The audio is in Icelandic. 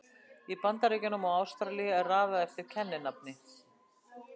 Í Bandaríkjunum og Ástralíu er raðað eftir kenninafni.